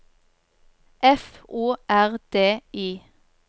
F O R D I